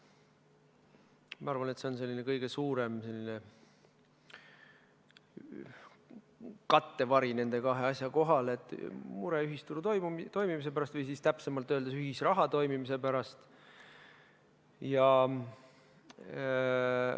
Ma arvan, et see on kõige suurem kattevari nende kahe asja kohal, mure ühisturu toimimise pärast või täpsemalt öeldes ühisraha toimimise pärast.